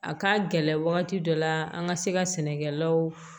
A ka gɛlɛn wagati dɔ la an ka se ka sɛnɛkɛlaw